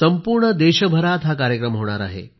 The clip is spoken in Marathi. संपूर्ण देशभरात हा कार्यक्रम होणार आहे